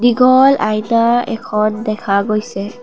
দীঘল আইনা এখন দেখা গৈছে।